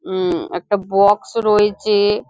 উম একটা বক্স রয়েছে।